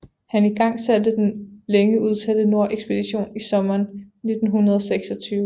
Han igangsatte den længe udsatte nordekspedition i sommeren 1926